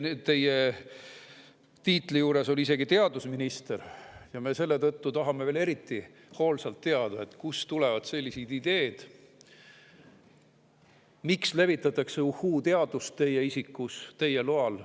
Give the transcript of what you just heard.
Teie tiitel on teadusminister ja selle tõttu me eriti hoolsalt, kust tulevad sellised ideed ja miks levitatakse uhhuu-teadust teie isikus, teie loal.